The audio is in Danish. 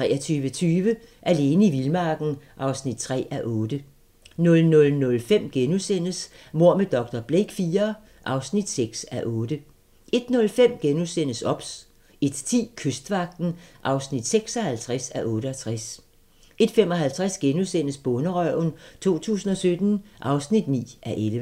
23:20: Alene i vildmarken (3:8) 00:05: Mord med dr. Blake IV (6:8)* 01:05: OBS * 01:10: Kystvagten (56:68) 01:55: Bonderøven 2017 (9:11)*